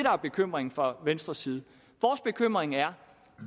er bekymringen fra venstres side vores bekymring er